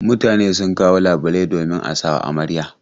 Mutane sun kawo labulai domin a sawa amarya.